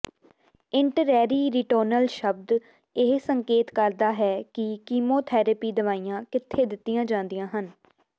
ਇੰਨਟਰੈਰੀਰੀਟੋਨਲ ਸ਼ਬਦ ਇਹ ਸੰਕੇਤ ਕਰਦਾ ਹੈ ਕਿ ਕੀਮੋਥੈਰੇਪੀ ਦਵਾਈਆਂ ਕਿੱਥੇ ਦਿੱਤੀਆਂ ਜਾਂਦੀਆਂ ਹਨ